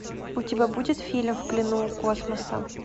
у тебя будет фильм в плену у космоса